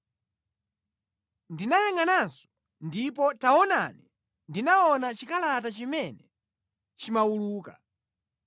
Ndinayangʼananso ndipo taonani ndinaona chikalata chimene chimawuluka.